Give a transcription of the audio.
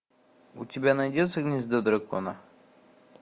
у тебя найдется гнездо дракона